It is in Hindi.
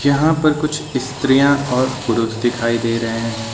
यहां पर कुछ स्त्रियां और पुरुष दिखाई दे रहे हैं।